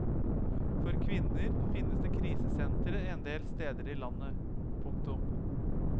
For kvinner finnes det krisesentre en del steder i landet. punktum